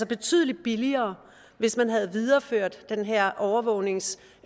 betydelig billigere hvis man havde videreført den her overvågnings